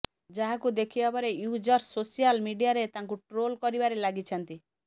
ଯାହାକୁ ଦେଖିବା ପରେ ୟୁଜର୍ସ ସୋସିଆଲ୍ ମିଡିଆରେ ତାଙ୍କୁ ଟ୍ରୋଲ୍ କରିବାରେ ଲାଗିଛନ୍ତି